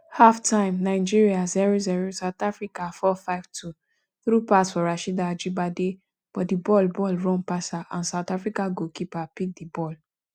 halftime nigeria 00 south africa 452 thru pass for rasheedat ajibade but di ball ball run pass her and south africa goalkeeper pick di ball